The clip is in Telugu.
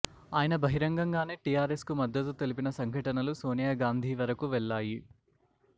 అయన బహిరంగం గానే టిఆర్ ఎస్ కు మద్దత్తు తెలిపిన సంఘటనలు సోనియా గాంధీ వరకు వెళ్లాయి